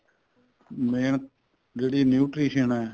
main ਜਿਹੜੀ nutrition ਏ